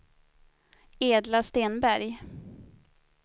Edla Stenberg